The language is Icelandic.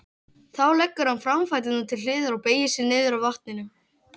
Þá leggur hann framfæturna til hliðar og beygir sig niður að vatninu.